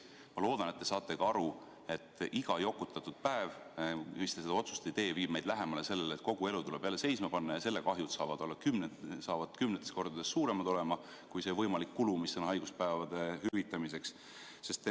Ma loodan, et te saate aru, et iga jokutatud päev, mil te seda otsust ei tee, viib meid lähemale sellele, et kogu elu tuleb jälle seisma panna, ja selle kahjud saavad olema kümneid kordi suuremad kui see võimalik kulu, mis kaasneb haiguspäevade varasema hüvitamisega.